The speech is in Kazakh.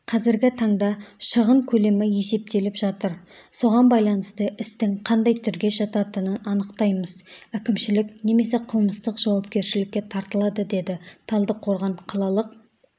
қазіргі таңда шығын көлемі есептеліп жатыр соған байланысты істің қандай түрге жататынын анықтаймыз әкімшілік немесе қылмыстық жауапкершілікке тартылады деді талдықорған қалалық